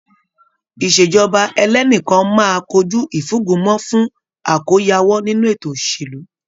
Ìṣèjọba ẹlẹ́nìkan máa kojú ìfúngunmọ́ fún àkóyawọ́ ninu ètò òṣèlú.